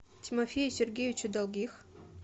тимофею сергеевичу долгих